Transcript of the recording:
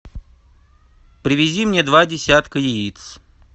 привези мне два десятка яиц